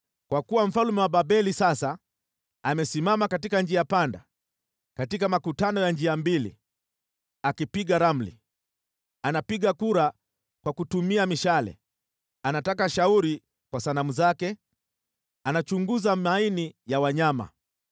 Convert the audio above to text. Kwa kuwa mfalme wa Babeli sasa amesimama katika njia panda, katika makutano ya njia mbili, akipiga ramli: anapiga kura kwa kutumia mishale, anataka shauri kwa sanamu zake, anachunguza maini ya wanyama.